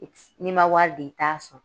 N'i ma wari di i t'a sɔrɔ